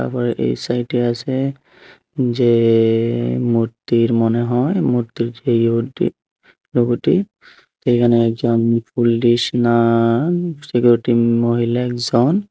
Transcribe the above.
আবার এই সাইটে আছে যে এ মূর্তির মনে হয় মূর্তির যে উডডি লোগোটি এখানে একজন ফুললি স্নান সিকিউরিটি মহিলা একজন।